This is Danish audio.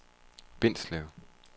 Bindslev